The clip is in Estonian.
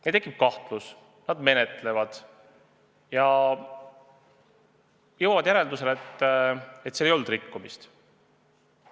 Neil tekib kahtlus, nad menetlevad seda ja jõuavad järeldusele, et ei olnud rikkumist.